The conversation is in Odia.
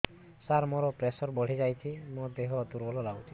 ସାର ମୋର ପ୍ରେସର ବଢ଼ିଯାଇଛି ମୋ ଦିହ ଦୁର୍ବଳ ଲାଗୁଚି